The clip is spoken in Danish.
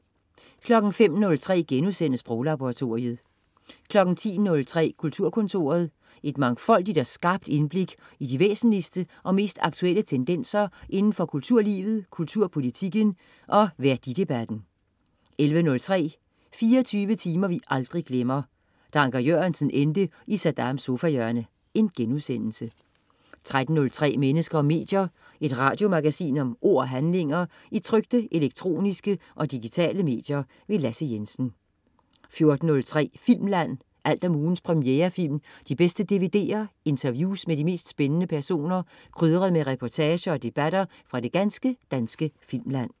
05.03 Sproglaboratoriet* 10.03 Kulturkontoret. Et mangfoldigt og skarpt indblik i de væsentligste og mest aktuelle tendenser indenfor kulturlivet, kulturpolitikken og værdidebatten 11.03 24 timer vi aldrig glemmer: Da Anker Jørgensen endte i Saddams sofahjørne* 13.03 Mennesker og medier. Et radiomagasin om ord og handlinger i trykte, elektroniske og digitale medier. Lasse Jensen 14.03 Filmland. alt om ugens premierefilm, de bedste DVD'er, interviews med de mest spændende personer, krydret med reportager og debatter fra det ganske danske filmland